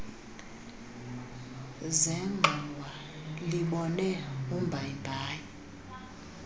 zengxowa libone umbayimbayi